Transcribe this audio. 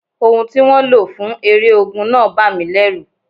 Ohùn tí wọ́n lò fún eré ogun náà bà mí lẹ́rù.